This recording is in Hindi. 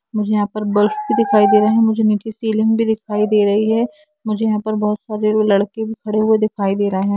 मुझे यहा पर बलफ भी दिखाई दे रहे है मुझे नीचे सीलिंग भी दिखाई दे रही है मुझे यहा पे बहुत सारे लड़के भी खड़े हुए दिखाई दे रहे है।